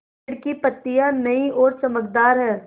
पेड़ की पतियां नई और चमकदार हैँ